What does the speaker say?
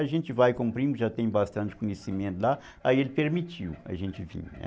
A gente vai com o primo, já tem bastante conhecimento lá, aí ele permitiu a gente vir, né?